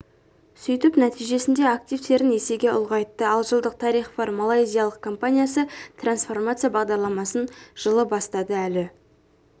сөйтіп нәтижесінде активтерін есеге ұлғайтты ал жылдық тарихы бар малайзиялық компаниясы трансформация бағдарламасын жылы бастады әлі